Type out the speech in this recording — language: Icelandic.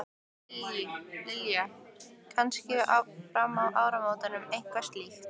Lillý: Kannski fram að áramótum eitthvað slíkt?